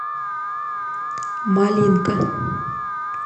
малинка